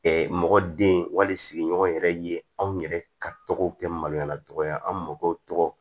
mɔgɔ den wali sigiɲɔgɔn yɛrɛ ye anw yɛrɛ ka tɔgɔw kɛ maloya tɔgɔ ye an mɔgɔw tɔgɔ